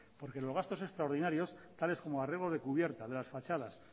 porque los gastos extraordinarios tales como arreglos de cubiertas de las fachadas